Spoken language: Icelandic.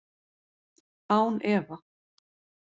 Án efa.